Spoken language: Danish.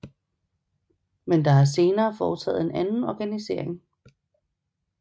Men der er senere foretaget en anden organisering